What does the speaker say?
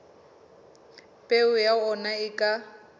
peo ya ona e ka